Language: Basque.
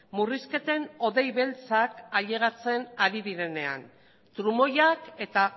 murrizketen odei beltzak ailegatzen ari direnean trumoiak eta